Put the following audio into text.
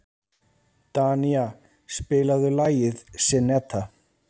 Danía, spilaðu lagið „Syneta“.